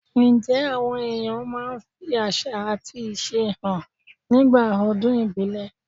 Ǹjẹ́ àwọn èèyàn máa ń fi àṣà àti ìṣe hàn nígbà ọdún ìbílẹ̀?